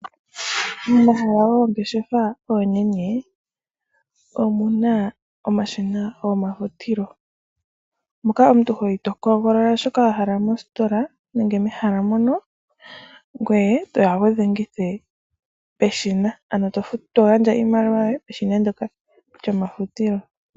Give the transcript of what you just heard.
Momahala goongeshefa oonene, omuna omashina gomafutilo. Moka omuntu hoyi to hogolola shoka wa hala mositola nenge mehala mono, ngoye toya wudhengithe peshina, ano togandja iimaliwa yoye peshina ndyoka lyomafutilo.